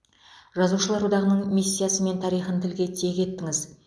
жазушылар одағының миссиясы мен тарихын тілге тиек еттіңіз